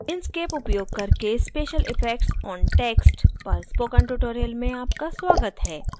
inkscape उपयोग करके special effects on text पर spoken tutorial में आपका स्वागत है